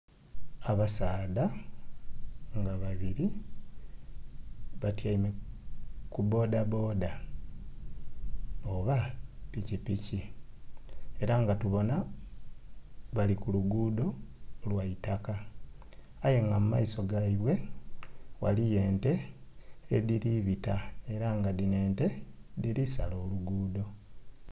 Abasaadha nga babiri batyaime ku bboda bboda oba pikipiki era nga tubonha bali ku luguudo lwa'taka aye nga mu maiso gaibwe ghaliyo ente edhiri bita era nga dhino ente dhiri sala oluguudo.